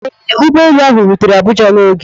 Ee, ụgbọ elu ahụ rutere Abuja n'oge.